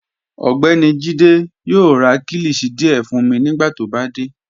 Ọgbẹ́ni Jíde yoo rá kílíshì díẹ̀ fun mi nigbàtí ó bá dé.